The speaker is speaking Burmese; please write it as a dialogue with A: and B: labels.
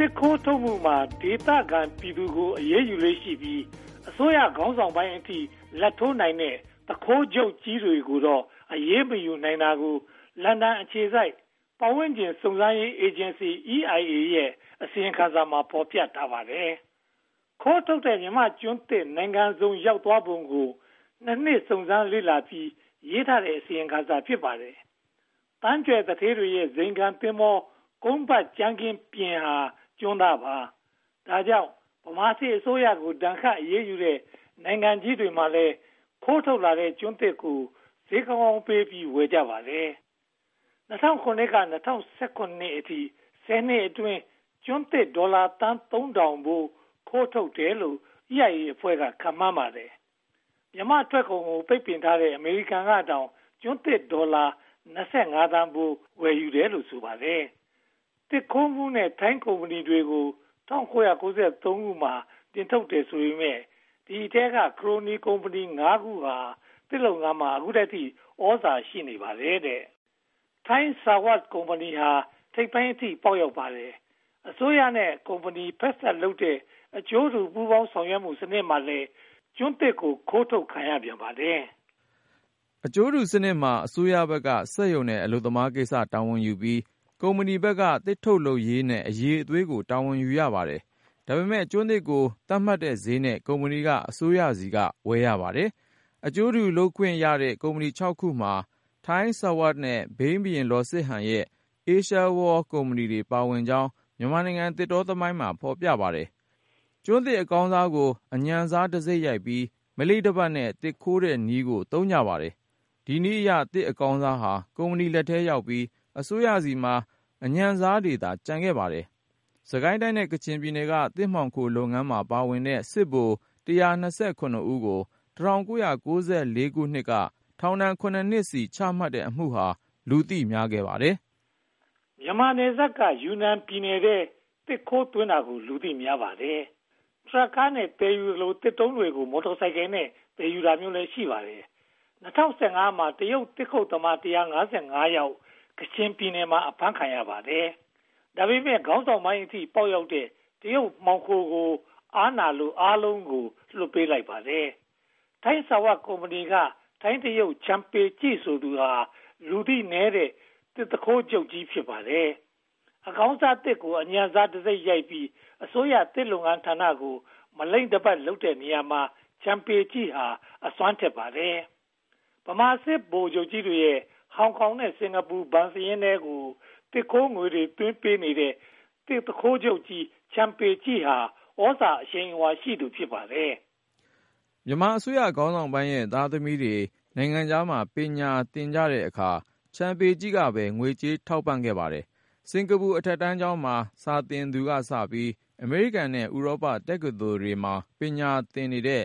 A: စ်ခိုးထုတ်မှုမှာ ဒေသခံပြည်သူတွေကို အရေးယူလေ့ရှိပြီး အစိုးရခေါင်းဆောင်ပိုင်းအထိ လာဘ်ထိုးနိုင်တဲ့ သူခိုးချုပ်ကြီးတွေကိုတော့ အရေးမယူနိုင်တာကို လန်ဒန်အခြေစိုက် ပတ်ဝန်းကျင်စုံစမ်းရေးအေဂျင်စီ EIA ရဲ့ အစီရင်ခံစာမှာ ဖော်ပြထားပါတယ်။ ခိုးထုတ်ခံရတဲ့ မြန်မာ့ကျွန်းသစ်တွေ နိုင်ငံစုံရောက်သွားပုံကို (၂) နှစ် စုံစမ်းစစ်ဆေးပြီး ရေးသားခဲ့တဲ့ အစီရင်ခံစာ ဖြစ်ပါတယ်။ သန်းကြွယ်သူဌေးတွေရဲ့ ဇိမ်ခံသင်္ဘော ကုန်းပတ်ကြမ်းခင်းပြင်ဟာ ကျွန်းသားပါ။ ဒါကြောင့် ဗမာစစ်အစိုးရကို ဒဏ်ခတ်အရေးယူတဲ့ နိုင်ငံကြီးတွေမှာလည်း ခိုးထုတ်လာတဲ့ ကျွန်းသစ်ကို ဈေးကောင်းကောင်းပေးပြီး ဝယ်ကြပါတယ်။ ၂၀၀၇ ကနေ ၂၀၁၇ အထိ ဆယ်နှစ်အတွင်း ကျွန်းသစ်ဒေါ်လာသန်း (၃၀၀၀) ဖိုး ခိုးထုတ်တယ်လို့ EIA အဖွဲ့က ခန့်မှန်းကြပါတယ်။ မြန်မာ့ထွက်ကုန်ကို ပိတ်ပင်ထားတဲ့ အမေရိကန်ကတောင် ကျွန်းသစ်ဒေါ်လာ (၂၅) သန်းဖိုး ဝယ်ယူတယ်လို့ ဆိုပါတယ်။ သစ်ခိုးမှုနဲ့ ထိုင်းကုမ္ပဏီတွေကို ၁၉၉၃ မှာ နှင်ထုတ်တယ်ဆိုပေမယ့် ဒီအထဲက ခရိုနီကုမ္ပဏီ (၅) ခုဟာ ဒီနေ့အထိ သစ်လုပ်ငန်းမှာ သြဇာရှိနေပါတယ်။ ထိုင်းဆာဝပ် (Thai Sawat) ကုမ္ပဏီဟာ ထိပ်ပိုင်းအထိ ပေါက်ရောက်ပါတယ်။ အစိုးရနဲ့ ကုမ္ပဏီဖက်စပ်လုပ်တဲ့ အကျိုးတူပူးပေါင်းဆောင်ရွက်မှုစနစ်မှာလည်း ကျွန်းသစ်တွေ ခိုးထုတ်ခံရပြန်ပါတယ်
B: ။ အကျိုးတူစနစ်မှာ အစိုးရဘက်က စက်ရုံနဲ့ အလုပ်သမားကိစ္စ တာဝန်ယူထားပြီး၊ ကုမ္ပဏီဘက်က သစ်ထုတ်လုပ်ရေးနဲ့ အရည်အသွေးကို တာဝန်ယူထားပါတယ်။ ဒါပေမဲ့ ကျွန်းသစ်ကို သတ်မှတ်ထားတဲ့ဈေးနဲ့ ကုမ္ပဏီက အစိုးရဆီက ဝယ်ယူရပါတယ်။ အကျိုးတူလုပ်ခွင့်ရတဲ့ ကုမ္ပဏီ (၆) ခုမှာ ထိုင်းဆာဝပ်နဲ့ ဘိန်းဘုရင်လောစစ်ဟန်ရဲ့ အေးရှားဝေါလ် (Asia World) ကုမ္ပဏီလည်း ပါဝင်ကြောင်း မြန်မာနိုင်ငံသစ်တောသမိုင်းမှာ ဖော်ပြထားပါတယ်။ ကျွန်းသစ်အကောင်းစားကို အညံ့စားတံဆိပ်ရိုက်ပြီး မလိမ့်တပတ်နဲ့ သစ်ခိုးတဲ့နည်းကို သုံးကြပါတယ်။ ဒီနည်းအရ သစ်အကောင်းစားဟာ ကုမ္ပဏီလက်ထဲရောက်ပြီး အစိုးရဆီမှာ အညံ့စားတွေသာ ကျန်ခဲ့ပါတယ်။ စစ်ကိုင်းတိုင်းနဲ့ ကချင်ပြည်နယ်ဟာ သစ်မှောင်ခိုးလုပ်ငန်းမှာ ပါဝင်တဲ့ စစ်ဗိုလ် (၁၂၇) ဦးကို (၁၉၉၄) မှာ ထောင် (၇) နှစ်စီ ချမှတ်လိုက်တဲ့အမှုဟာ လူသိများပါတယ်
A: ။ မြန်မာနယ်စပ်က ယူနန်ပြည်နယ်ထဲ သစ်ခိုးသွင်းတာကို လူသိများပါတယ်။ ထရပ်ကားတွေနဲ့ သယ်ယူသလို၊ သစ်တုံးတွေကို မော်တော်ဆိုင်ကယ်နဲ့ သယ်ယူတာမျိုးလည်း ရှိပါတယ်။ ၂၀၁၅ မှာ တရုတ်သစ်ခုတ်သမား (၁၅၅) ယောက် ကချင်ပြည်နယ်မှာ အဖမ်းခံရပါတယ်။ ခေါင်းဆောင်ပိုင်းအထိ ပေါက်ရောက်တဲ့ တရုတ်မှောင်ခိုတွေကို အားနာလို့ အားလုံးကို ပြန်လွှတ်ပေးလိုက်ပါတယ်။ ထိုင်းဆာဝပ်ကုမ္ပဏီက ထိုင်းတရုတ် ချန်ပေကျိ ဆိုသူဟာ လူသိနည်းတဲ့ သစ်သူခိုးဂိုဏ်းချုပ်ကြီး ဖြစ်ပါတယ်။ အကောင်းစားသစ်ကို အညံ့စားတံဆိပ်ရိုက်ပြီး အစိုးရသစ်လုပ်ငန်းဌာနကို မလိမ့်တပတ်လုပ်တဲ့နေရာမှာ ချန်ပေကျိဟာ အစွမ်းထက်ပါတယ်။ ဗမာစစ်ဗိုလ်ကြီးတွေရဲ့ ဟောင်ကောင်နဲ့ စင်္ကာပူဘဏ်စာရင်းထဲကို သစ်ခိုးငွေတွေသွင်းပေးတဲ့ သစ်သူခိုးချုပ်ကြီး ချန်ပေကျိဟာ သြဇာအရှိန်အဝါရှိသူ ဖြစ်ပါတယ်။
B: မြန်မာအစိုးရခေါင်းဆောင်ပိုင်းရဲ့ သားသမီးတွေ နိုင်ငံခြားမှာ ပညာသင်တဲ့အခါမှာ ချန်ပေကျိ ကပဲ ငွေကြေးထောက်ပံ့ပါတယ်။ စင်္ကာပူအထက်တန်းကျောင်းမှာ စာသင်သူကစပြီး အမေရိကန်နဲ့ ဥရောပတက္ကသိုလ်တွေမှာ ပညာသင်နေတဲ့